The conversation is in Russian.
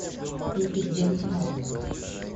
включи джеймс ханниган